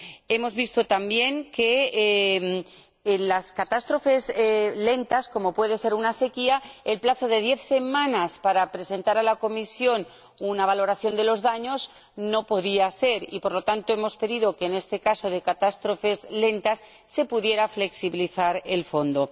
Hemos visto también que, en las catástrofes lentas, como puede ser una sequía, el plazo de diez semanas para presentar a la Comisión una valoración de los daños no puede funcionar y, por lo tanto, hemos pedido que, en el caso de este tipo de catástrofes lentas, se pueda flexibilizar el recurso al Fondo.